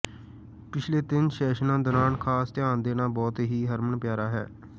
ਪਿਛਲੇ ਤਿੰਨ ਸੈਸ਼ਨਾਂ ਦੌਰਾਨ ਖਾਸ ਧਿਆਨ ਦੇਣਾ ਬਹੁਤ ਹੀ ਹਰਮਨਪਿਆਰਾ ਹੈ